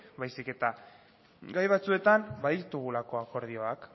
baizik eta gai batzuetan baditugulako akordiak